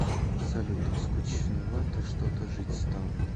салют скучновато что то жить стало